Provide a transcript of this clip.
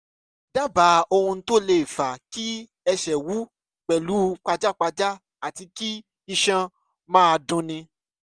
dábàá ohun tó lè fa kí ẹsẹ̀ wú pẹ̀lú pajápajá àti kí iṣan máa dunni